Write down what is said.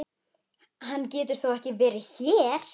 Hann getur þó ekki verið hér!